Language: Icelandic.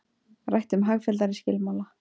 Rætt um hagfelldari skilmála